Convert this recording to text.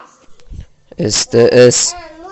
стс